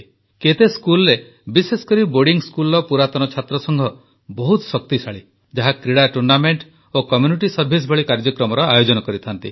କେତେ ସ୍କୁଲରେ ବିଶେଷକରି ବୋର୍ଡିଂ ସ୍କୁଲର ପୁରାତନ ଛାତ୍ରସଂଘ ବହୁତ ଶକ୍ତିଶାଳୀ ଯାହା କ୍ରୀଡ଼ା ଟୁର୍ଣ୍ଣାମେଣ୍ଟ ଓ କମ୍ୟୁନିଟି ସର୍ଭାଇସ୍ ଭଳି କାର୍ଯ୍ୟକ୍ରମର ଆୟୋଜନ କରିଥାନ୍ତି